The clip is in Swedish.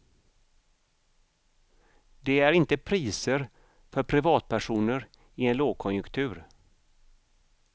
Det är inte priser för privatpersoner i en lågkonjunktur.